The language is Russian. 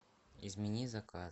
измени заказ